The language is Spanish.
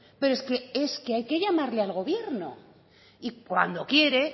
pero es que es que hay que llamarle al gobierno y cuando quiere